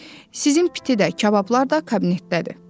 Müəllim, sizin piti də, kabablar da kabinetdədir.